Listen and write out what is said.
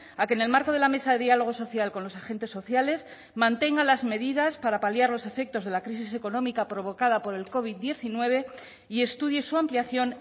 a que en el marco de la mesa de dialogo social con los agentes sociales mantenga las medidas para paliar los efectos de la crisis económica provocada por el covid diecinueve y estudie su ampliación